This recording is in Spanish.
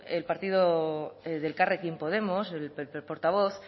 de elkarrekin podemos el portavoz